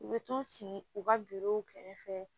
U bɛ t'u ci u ka kɛrɛfɛ